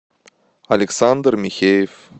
александр михеев